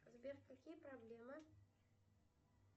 сбер какие проблемы